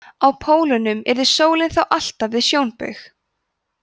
á pólunum yrði sólin þá alltaf við sjónbaug